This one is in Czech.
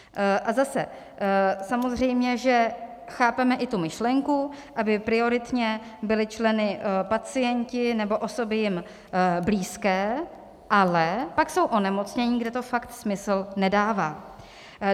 A zase, samozřejmě že chápeme i tu myšlenku, aby prioritně byli členy pacienti nebo osoby jim blízké, ale pak jsou onemocnění, kde to fakt smysl nedává.